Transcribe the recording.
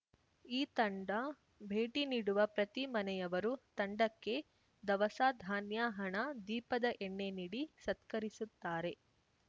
ಈ ತಂಡ ಭೇಟಿ ನೀಡುವ ಪ್ರತಿ ಮನೆಯವರು ತಂಡಕ್ಕೆ ದವಸ ಧಾನ್ಯ ಹಣ ದೀಪದ ಎಣ್ಣೆ ನೀಡಿ ಸತ್ಕರಿಸುತ್ತಾರೆ